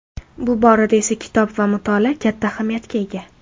Bu borada esa kitob va mutolaa katta ahamiyatga ega.